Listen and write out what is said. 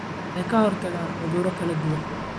Waxay ka hortagaan cuduro kala duwan.